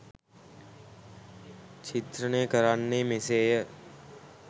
චිත්‍රණය කරන්නේ මෙසේය